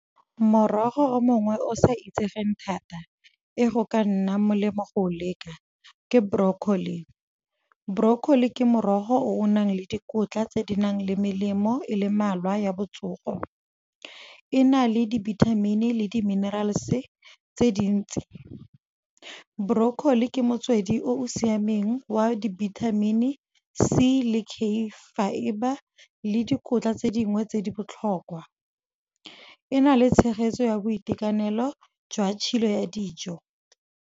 Morogo mongwe o sa itsegeng thata e go ka nnang molemo go o leka, ke broccoli. Broccoli ke morogo o o nang le dikotla tse di nang le melemo, e le mmalwa ya botsogo. E na le di-vitamin-i le di-minerals tse dintsi, broccoli ke motswedi o o siameng, wa di-vitamin C le K fibre, le dikotla tse dingwe tse di botlhokwa. E na le tshegetso ya boitekanelo jwa tshilo ya dijo.